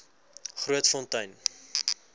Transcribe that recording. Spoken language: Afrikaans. grootfontein